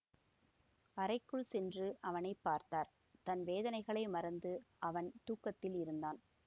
அறைக்குள் சென்று அவனை பார்த்தார் தன் வேதனைகளை மறந்து அவன் தூக்கத்தில் இருந்தான்